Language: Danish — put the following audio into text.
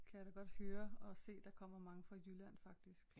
Kan jeg da godt høre og se der kommer mange fra Jylland faktisk